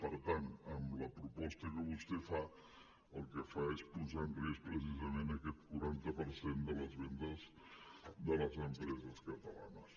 per tant amb la proposta que vostè fa el que fa és posar en risc precisament aquest quaranta per cent de les vendes de les empreses catalanes